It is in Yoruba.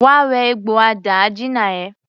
Wá wẹ egbò àdáàjina ẹ!